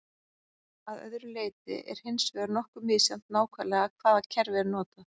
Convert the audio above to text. að öðru leyti er hins vegar nokkuð misjafnt nákvæmlega hvaða kerfi er notað